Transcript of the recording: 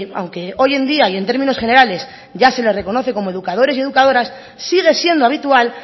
aunque hoy en día y en términos generales ya se le reconoce como educadores y educadoras sigue siendo habitual